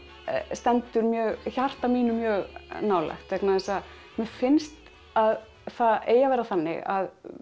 stendur hjarta mínu mjög nálægt vegna þess að mér finnst að það eigi að vera þannig að